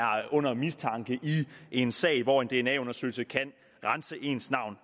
under mistanke i en sag hvor en dna undersøgelse kan rense ens navn